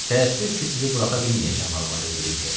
Təəssüf ki, sizi buraxa bilməyəcəm, Almazər Brike.